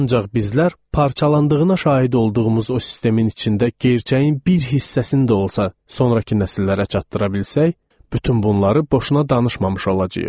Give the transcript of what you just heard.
Ancaq bizlər parçalandığına şahid olduğumuz o sistemin içində gerçəyin bir hissəsini də olsa sonrakı nəsillərə çatdıra bilsək, bütün bunları boşuna danışmamış olacağıq.